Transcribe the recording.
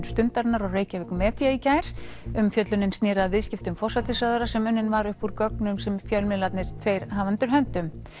Stundarinnar og Reykjavík Media í gær umfjöllunin snéri að viðskiptum forsætisráðherra sem unnin var uppúr gögnum sem fjölmiðlarnir tveir hafa undir höndum